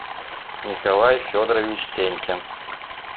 николай федорович сенькин